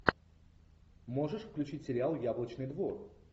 можешь включить сериал яблочный двор